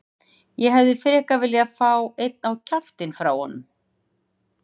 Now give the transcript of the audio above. Ég hefði frekar viljað fá einn á kjaftinn frá honum.